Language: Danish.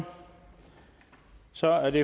så er det